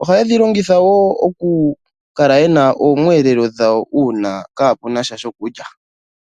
Ohaye dhi longitha wo onga iiyelelwa yawo uuna kapenasha shokulya.